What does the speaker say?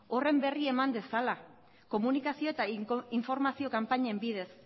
horren berri eman dezala komunikazioa eta informazio kanpainen bidez